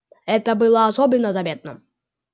это было особенно заметно